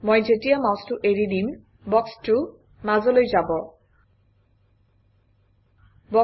মই যেতিয়া মাউচটো এৰি দিম বক্সটো মাজলৈ স্থানান্তৰিত হব